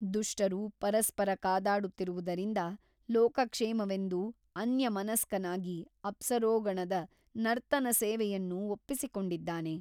ದುಷ್ಟರು ಪರಸ್ಪರ ಕಾದಾಡುತ್ತಿರುವುದರಿಂದ ಲೋಕಕ್ಷೇಮವೆಂದು ಅನ್ಯಮನಸ್ಕನಾಗಿ ಅಪ್ಸರೋಗಣದ ನರ್ತನಸೇವೆಯನ್ನು ಒಪ್ಪಿಸಿಕೊಂಡಿದ್ದಾನೆ.